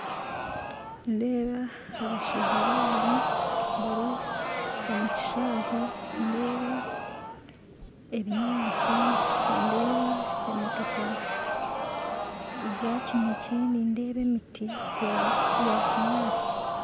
Nindeeba abashaija babiiri bari omu kishaayi nindeeba ebinyaatsi nindeeba emotooka zakineekye nindeeba emiti yakinyaatsi